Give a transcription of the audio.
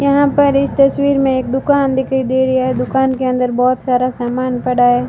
यहां पर इस तस्वीर में एक दुकान दिखाई दे रही है दुकान के अंदर बहुत सारा सामान पड़ा है।